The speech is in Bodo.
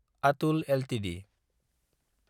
आटुल एलटिडि